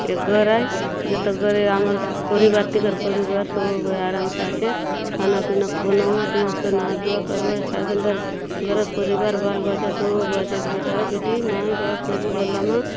एक घर आय तुजएते घरे आमेर परिवार टेकर पूरीवार सो गया आराम से आसेत खाना पीना बनावत मस्त नहाय धुआ करु आय काय सूंदर गरख पूरीवार बाल बच्चा सो बचेत बेटा बेटी माई बाप सोबू बल्लम --